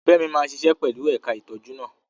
Femi máa ṣiṣẹ́ pẹ̀lú ẹ̀ka ìtọ́jú náà.